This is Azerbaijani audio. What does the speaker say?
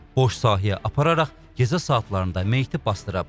Boş sahəyə apararaq gecə saatlarında meyiti basdırıb.